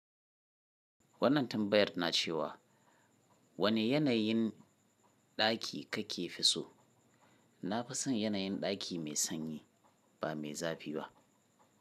Wannan tambayar na cewa, wane yanayin ɗaki ka fi so? Na fi son yanayin ɗaki mai sanyi ba mai zafi ba.